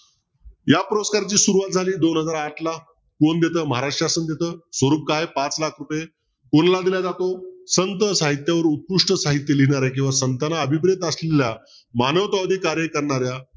या पुरस्काराची सुरवात झाली आहे दोन हजार आठला कोण देत महाराष्ट्र शासन देत स्वरूप काय पाच लाख रुपये कोणाला दिल्या जातो संत साहित्य व उत्कृष्ट साहित्य लिहीणार्या किंवा संतना अभिप्रेत असलेल्या मानवतावादी कार्य करणाऱ्या